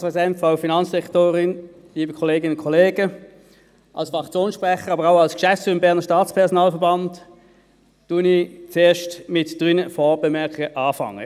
Als Fraktionssprecher, aber auch als Geschäftsführer des Bernischen Staatspersonalverbands (BSPV) beginne ich mit drei Vorbemerkungen.